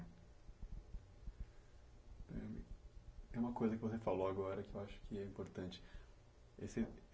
É uma coisa que você falou agora que eu acho que é importante. Esse